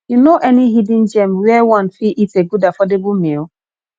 you know any hidden gem where one fit eat a good affordable meal